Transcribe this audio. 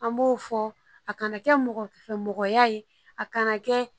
An b'o fɔ a kana kɛ mɔgɔ fɛn mɔgɔya ye a kana kɛ